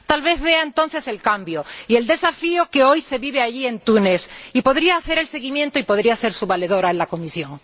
Tal vez vea entonces el cambio y el desafío que hoy se vive allí, en Túnez, y podría hacer un seguimiento de la situación y ser su valedora en la Comisión.